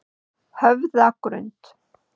Höfðagrund